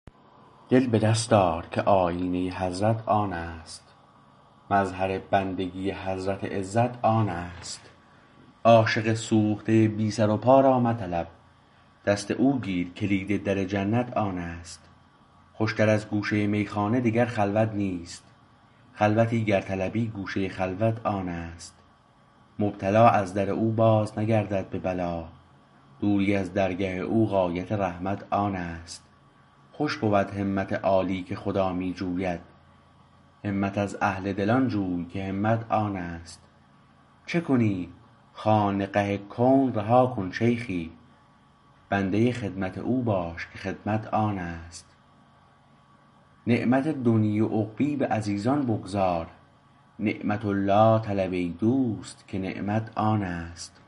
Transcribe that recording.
دل به دست آر که آیینه حضرت آنست مظهر بندگی حضرت عزت آنست عاشقی سوخته بی سر و پا را مطلب دست او گیر کلید در جنت آنست خوشتر از گوشه میخانه دگر خلوت نیست خلوتی گر طلبی گوشه خلوت آنست مبتلا از در او باز نگردد به بلا دوری از درگه او غایت رحمت آنست خوش بود همت عالی که خدا می جوید همت از اهل دلان جوی که همت آنست چه کنی خانقه کون رها کن شیخی بنده خدمت او باش که خدمت آنست نعمت دنیی و عقبی به عزیزان بگذار نعمت الله طلب ای دوست که نعمت آنست